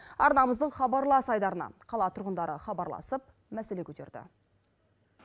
арнамыздың хабарлас айдарына қала тұрғындары хабарласып мәселе көтерді